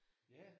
Ja